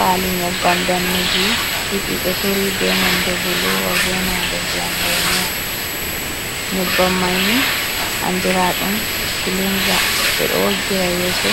Pali nyebbam ɗaneji didi ɗo turi be nonɗe boluwa be nonɗe ndiyam lemuwa nyebbam maini andira dum kilinza ɓe ɗo woggira yeso